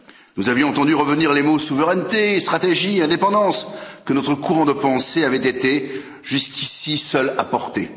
Nous avions entendu revenir les mots souveraineté, stratégie, indépendance, que notre courant de pensée avait été jusqu'ici seul à porter.